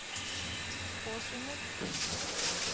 påskyndet